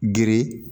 Gere